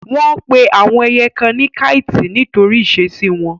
Wọ́n pe àwọn ẹyẹ kan ní káìtì nítorí ìṣesí wọn.